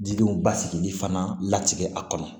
Didenw basigili fana latigɛ a kɔnɔ